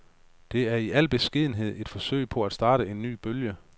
Det er i al beskedenhed et forsøg på at starte en ny bølge.